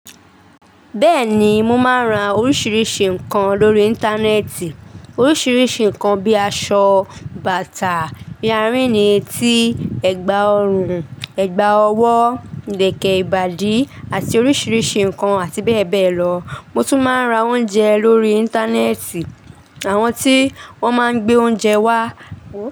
Bẹ́ẹ̀ni, mo máa ń ra oríṣiríṣi nǹkan lórí Íńtánẹ́ẹ̀tì. Oríṣiríṣi nǹkan bí i aṣọ, bàtà, earini etí, ẹ̀gbà ọrùn, ẹ̀gbà ọwọ́, ìlẹ̀kẹ̀ ìbàdí àti oríṣiríṣi nǹkan àti bẹ́ẹ̀ bẹ́ẹ̀ lọ. Mo tún máa ń ra oúnjẹ lórí Íńtánẹ́ẹ̀tì àwọn tí wọ́n máa ń gbé oúnjẹ wá.